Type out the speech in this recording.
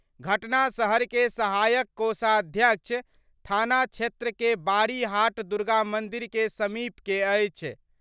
घटना शहर के सहायक कोषाध्यक्ष थाना क्षेत्र के बारी हाट दुर्गा मंदिर के समीप के अछि।